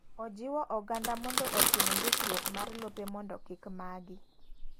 Ojiwo oganda mondo otim ndikruok mar lope momdo kik magi.